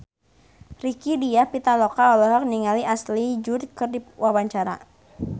Rieke Diah Pitaloka olohok ningali Ashley Judd keur diwawancara